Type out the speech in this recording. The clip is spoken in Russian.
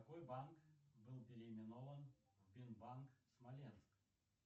какой банк был переименован в бинбанк смоленск